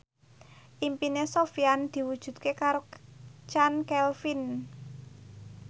impine Sofyan diwujudke karo Chand Kelvin